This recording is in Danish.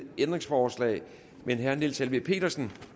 ændringsforslag men herre niels helveg petersen